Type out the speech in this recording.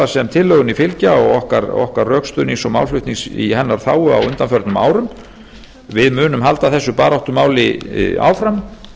sem tillögunni fylgja og okkar rökstuðnings og málflutnings í hennar þágu á undanförnum árum við munum halda þessu baráttumáli áfram